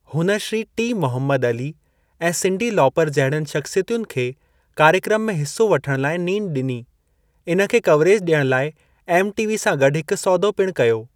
हुन Shri T. Muhammad Ali ऐं Cyndi Lauper जहिड़नि शख़्सियतुनि खे कार्यक्रम में हिस्सो वठण लाइ नींड ॾिनी, इन खे कवरेज ॾियण लाइ एमटीवी सां गॾु हिकु सौदो पिणु कयो।